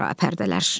Sərapərdələr.